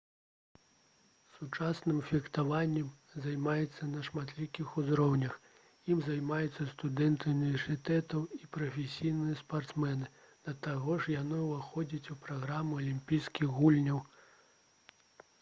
сучасным фехтаваннем займаюцца на шматлікіх узроўнях ім займаюцца студэнты ўніверсітэтаў і прафесійныя спартсмены да таго ж яно ўваходзіць у праграму алімпійскіх гульняў